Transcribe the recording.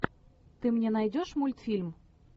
ты мне найдешь мультфильм